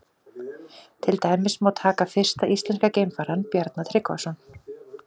Til dæmis má taka fyrsta íslenska geimfarann, Bjarna Tryggvason.